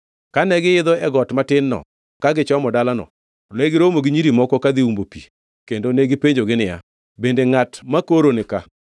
Kane giidho got matin-no ka gichomo dalano negiromo gi nyiri moko kadhi umbo pi kendo ne gipenjogi niya, “Bende ngʼat makoro nika?”